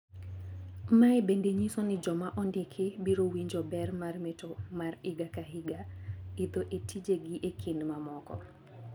Maendi bende nyiso ni joma ondiki biro winjo ber mar mato mar higa ka higa, idho etije gi e kind mamoko.